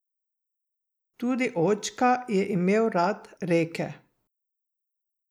Tudi očka je imel rad reke.